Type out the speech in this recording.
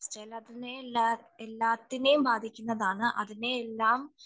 എല്ലാറ്റിനെയുംബാധിക്കുന്നതാണ് അതിനെയെല്ലാം